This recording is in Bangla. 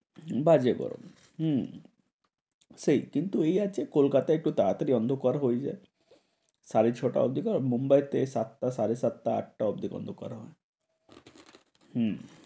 বাজে গরম। হম সেই কিন্তু এই আছে যে কলকাতায় তো তাড়া তাড়ি অন্ধকার হয়ে যায়। সাড়ে ছ টার জায়গায় মুম্বাইতে সাতটা সাড়ে সাতটা আটটা অবধি অন্ধকার হয়। হম